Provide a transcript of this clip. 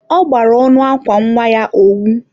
ọ gbara ọnụ akwa nwa ya owu.